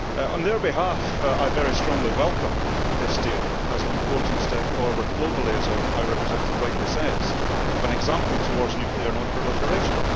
On their behalf, I very strongly welcome this deal as an important step forward globally as our High Representative rightly says of an example towards nuclear non-proliferation.